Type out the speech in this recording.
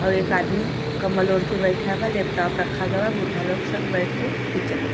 औ एक आदमी कम्बल ओढी के बइठा बा लैपटॉप रखा ग् बा बूढ़ा लोग सब बइठ के पिचर देख --